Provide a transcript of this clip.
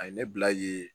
A ye ne bila ye